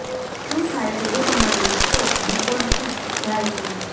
શું થાય છે જો તમારી સ્ટોક ડિપોર્ચિટ જાય તો